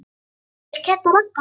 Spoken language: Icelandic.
Hann fer til Kidda og Ragga.